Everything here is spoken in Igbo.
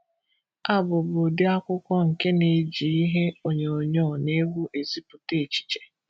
Abụ bụ ụdị akwụkwọ nke na-eji ihe onyinyo na egwu ezipụta echiche.